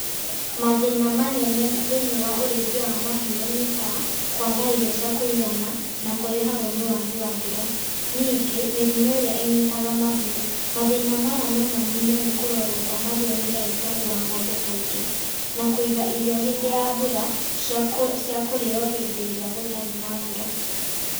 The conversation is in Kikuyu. Mathĩna manene thĩiniĩ wa ũrĩithia wa mahiũ nĩ ta, kwaga irio cia kũigana, na kũrehagũo nĩ wagi wa mbura, ningĩ mĩrimũ ĩrĩa ĩnyitaga mahiũ. Mathĩna maya no maninũo nĩ kũrorũo kwa mahiũ nĩ ndagĩtarĩ wa ngombe kaingĩ, na kũiga irio hĩndĩ ya mbura, ciakũrĩo hĩndĩ ĩrĩa gũtarĩ na mbura.